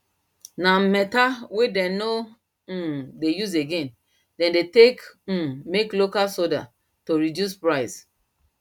na metal wen them nor um dey use again them take they um make local soade to reduce price